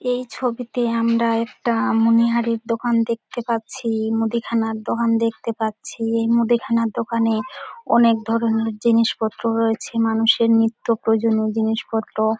এই ছবিতে আমরা একটা অ্যামুনিহারের দোকান দেখতে পাচ্ছি মুদিখানা দোকান দেখতে পাচ্ছি এই মুদিখানার দোকানে অনেক ধরণের জিনিসপত্র রয়েছে মানুষের নিত্য প্রয়োজনীও জিনিসপত্র।